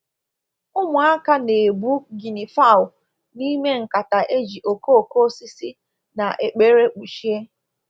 Ụmụaka na-ebu guinea fowl n'ime nkata e ji okooko osisi na ekpere kpuchie